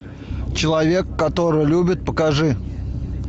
человек который любит покажи